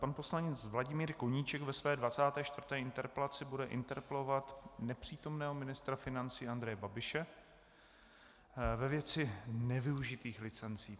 Pan poslanec Vladimír Koníček ve své 24. interpelaci bude interpelovat nepřítomného ministra financí Andreje Babiše ve věci nevyužitých licencí.